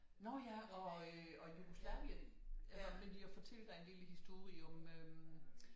Nå ja og øh Jugoslavien jeg ville fortælle dig en lille historie om øh